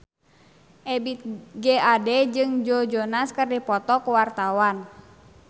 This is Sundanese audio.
Ebith G. Ade jeung Joe Jonas keur dipoto ku wartawan